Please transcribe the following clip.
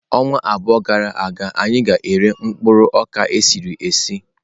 Ọnwa abụọ gara aga anyị ga-ere mkpụrụ okpa esiri esi.